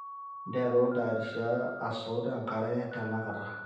nteru aitayarisha asot enkare tenakata